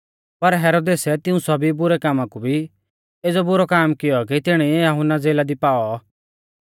पर हेरोदेसै तिऊं सौभी बुरै कामा कु भी एज़ौ बुरौ काम कियौ कि तिणीऐ यहुन्ना ज़ेला दी पाऔ